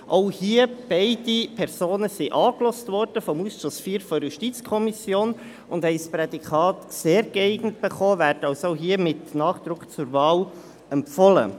Auch hier: Beide Personen wurden vom Ausschuss IV der JuKo angehört und erhielten das Prädikat «sehr geeignet», werden also ebenfalls mit Nachdruck zur Wahl empfohlen.